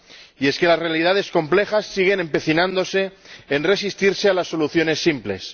Y es que las realidades complejas siguen empecinándose en resistirse a las soluciones simples.